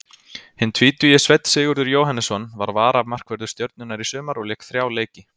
Hinn tvítugi Sveinn Sigurður Jóhannesson var varamarkvörður Stjörnunnar í sumar og lék þrjá leiki.